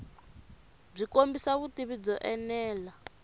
byi kombisa vutivi byo enela